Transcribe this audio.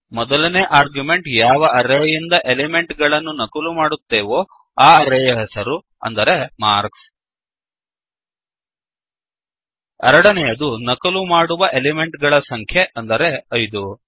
ಮೊದಲನೇ ಆರ್ಗ್ಯುಮೆಂಟ್ ಯಾವ ಅರೇಯಿಂದ ಎಲೆಮೆಂಟ್ ಗಳನ್ನು ನಕಲು ಮಾಡುತ್ತೇವೋ ಆ ಅರೇಯ ಹೆಸರು ಅಂದರೆ ಮಾರ್ಕ್ಸ್ ಎರಡನೆಯದು ನಕಲು ಮಾಡುವ ಎಲಿಮೆಂಟ್ ಗಳ ಸಂಖ್ಯೆ ಅಂದರೆ 5